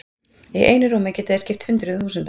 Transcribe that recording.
Í einu rúmi geta þeir skipt hundruðum þúsunda.